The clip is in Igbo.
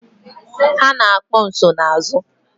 Ha na-akpọ nsonaazụ.